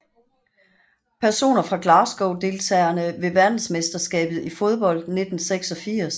Personer fra Glasgow Deltagere ved verdensmesterskabet i fodbold 1986